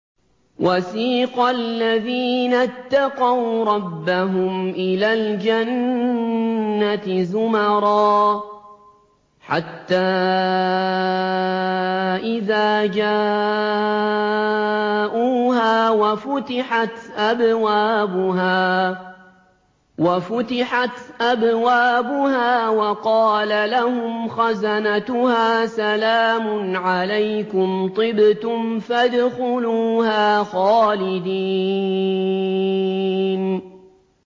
وَسِيقَ الَّذِينَ اتَّقَوْا رَبَّهُمْ إِلَى الْجَنَّةِ زُمَرًا ۖ حَتَّىٰ إِذَا جَاءُوهَا وَفُتِحَتْ أَبْوَابُهَا وَقَالَ لَهُمْ خَزَنَتُهَا سَلَامٌ عَلَيْكُمْ طِبْتُمْ فَادْخُلُوهَا خَالِدِينَ